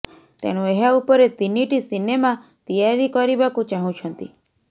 ତେଣୁ ଏହା ଉପରେ ତିନିଟି ସିନେମା ତିଆରି ତିଆରି କରିବାକୁ ଚାହୁଁଛନ୍ତି